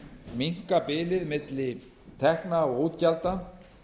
minnka bilið á milli tekna og útgjalda